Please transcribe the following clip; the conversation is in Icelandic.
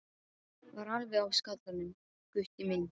Var alveg á skallanum, Gutti minn.